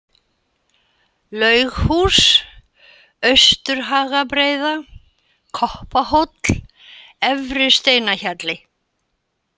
Laughús, Austurhagabreiða, Koppahóll, Efri-Steinahjalli